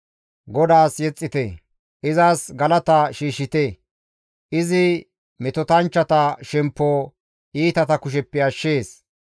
GODAAS yexxite! Izas galata shiishshite; izi metotanchchata shemppo iitata kusheppe ashshees.